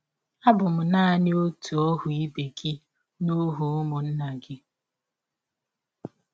Abụ m naanị ọhụ ibe gị na ọhụ ụmụnna gị...